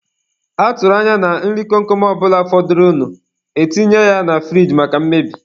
A tụrụ anya na nri kom kom ọ bụla fọdụrụnụ, e tinye ya na furige maka mmebi.